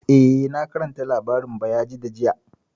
Eh, na karanta labarin Bayajidda jiya